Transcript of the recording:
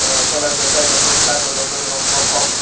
solar bendar ni bogkelab bo nogjak o rom bokog.